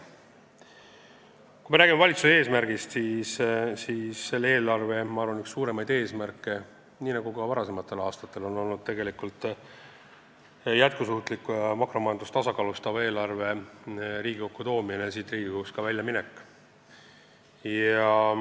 Kui me räägime valitsuse eesmärgist, siis nii nagu varasematel aastatel on selle eelarve üks suuremaid eesmärke jätkusuutliku ja makromajandust tasakaalustava eelarve Riigikokku toomine ja ka siit Riigikogust väljaminek.